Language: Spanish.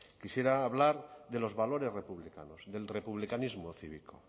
quisiera hablar de los valores republicanos del republicanismo cívico